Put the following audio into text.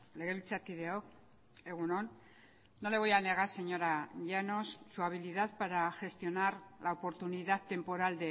legebiltzarkideok egun on no le voy a negar señora llanos su habilidad para gestionar la oportunidad temporal